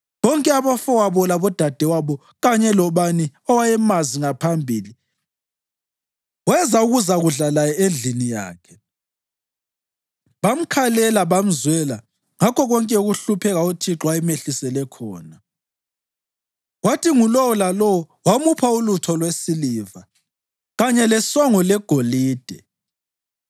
Bonke abafowabo labodadewabo kanye lobani owayemazi ngaphambili weza ukuzakudla laye endlini yakhe. Bamkhalela, bamzwela ngakho konke ukuhlupheka uThixo ayemehlisele khona, kwathi ngulowo lalowo wamupha ulutho lwesiliva kanye lesongo legolide.